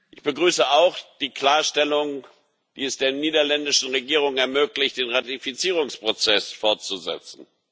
Ich begrüße auch die Klarstellung, die es der niederländischen Regierung ermöglicht, den Ratifizierungsprozess fortzusetzen.